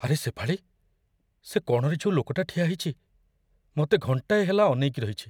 ଆରେ ଶେଫାଳୀ, ସେ କଣରେ ଯୋଉ ଲୋକଟା ଠିଆ ହେଇଚି, ମତେ ଘଣ୍ଟାଏ ହେଲା ଅନେଇକି ରହିଚି ।